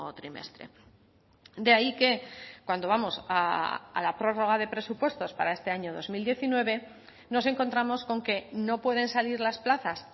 trimestre de ahí que cuando vamos a la prórroga de presupuestos para este año dos mil diecinueve nos encontramos con que no pueden salir las plazas